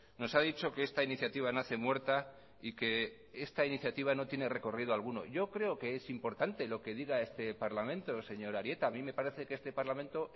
nos ha dicho que esta iniciativa nace muerta y que esta iniciativa no tiene recorrido alguno yo creo que es importante lo que diga este parlamento señor arieta a mí me parece que este parlamento